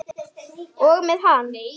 Og með hann.